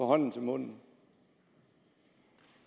hånden til munden